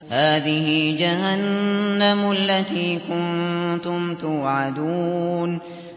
هَٰذِهِ جَهَنَّمُ الَّتِي كُنتُمْ تُوعَدُونَ